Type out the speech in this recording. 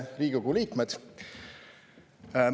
Riigikogu liikmed!